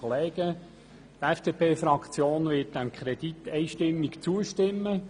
Die FDP-Fraktion wird dem Kredit einstimmig zustimmen.